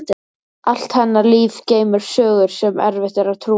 Allt hennar líf geymir sögur sem erfitt er að trúa.